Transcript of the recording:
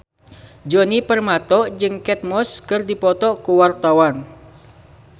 Djoni Permato jeung Kate Moss keur dipoto ku wartawan